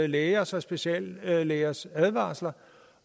lægers og speciallægers advarsler